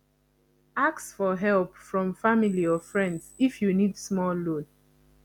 ask for help from family or friends if you need small loan